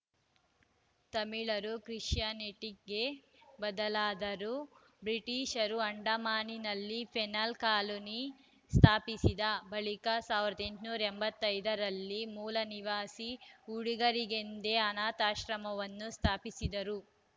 ತಮಿಳರು ಕ್ರಿಶ್ಚಿಯಾನಿಟಿಗೆ ಬದಲಾದರು ಬ್ರಿಟಿಷರು ಅಂಡಮಾನಿನಲ್ಲಿ ಪೆನಲ್‌ ಕಾಲೋನಿ ಸ್ಥಾಪಿಸಿದ ಬಳಿಕ ಸಾವಿರದ ಎಂಟುನೂರ ಎಂಬತ್ತ್ ಐದ ರಲ್ಲಿ ಮೂಲ ನಿವಾಸಿ ಹುಡುಗರಿಗೆಂದೇ ಅನಾಥಾಶ್ರಮವನ್ನೂ ಸ್ಥಾಪಿಸಿದರು